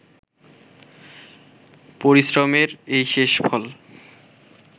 পরিশ্রমের এই শেষ ফল